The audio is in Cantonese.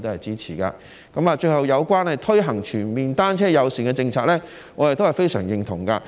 最後，有關推行全面單車友善政策，我也是非常認同的。